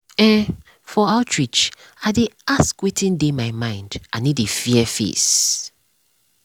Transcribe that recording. ehn for outreach i dey ask wetin dey my mind i no dey fear face.